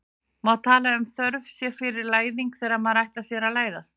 Má tala um þörf sé fyrir læðing þegar maður ætlar sér að læðast?